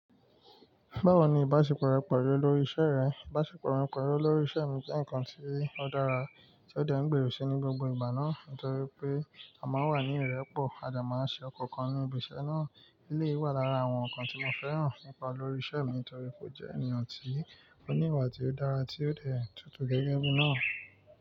Báwo ni ìbáṣepọ̀ rẹ pelu olórí iṣẹ́ rẹ? Ìbáṣepọ̀ mi pelu olórí iṣẹ́ mi jẹ́ nǹkan tí ó dára tí ó dẹ́ n gbèrò sí ní gbogbo ìgbà náà. Nítorí pé a máa ń wà ní ìrẹ́pọ̀, a de máa ń ṣe ọkọọ̀kan ní ibi iṣẹ́ náà. Eleyi wà lára àwọn nǹkan tí mo fẹ́ràn nípa olórí iṣẹ́ mi nítorí pé ó jẹ́ èeyàn tí ó ní ìwà tí ó dára tí ó dẹ́ tutù gẹ́gẹ́ bí náà.